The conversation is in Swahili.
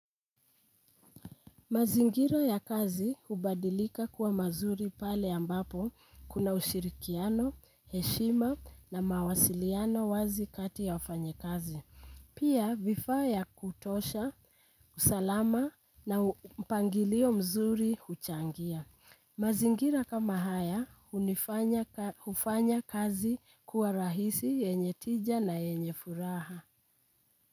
Mazingira ya kazi hubadilika kuwa mazuri pale ambapo kuna ushirikiano, heshima na mawasiliano wazi kati ya wafanyikazi. Pia vifaa ya kutosha, usalama na mpangilio mzuri huchangia. Mazingira kama haya hunifanya kazi kuwa rahisi yenye tija na yenye furaha.